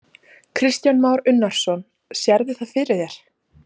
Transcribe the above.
Kristján Már Unnarsson: Sérðu það fyrir þér?